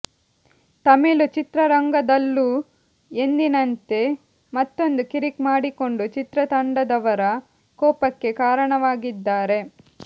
ತಮಿಳು ಚಿತ್ರರಂಗದಲ್ಲು ಎಂದಿನಂತೆ ಮತ್ತೊಂದು ಕಿರಿಕ್ ಮಾಡಿಕೊಂಡು ಚಿತ್ರತಂಡದವರ ಕೋಪಕ್ಕೆ ಕಾರಣವಾಗಿದ್ದಾರೆ